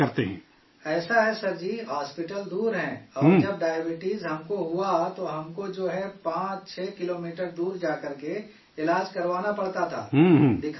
ایسا ہے sir ji, hospital دور ہیں اور جب ڈائبٹیز ہم کو ہوا تو ہم کو جو ہے 65 کلومیٹر دور جا کر کے علاج کروانا پڑتا تھا، دکھانا پڑتا تھا